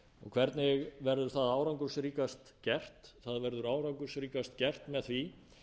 hvernig verður það árangursríkast gert það verður árangursríkast gert með því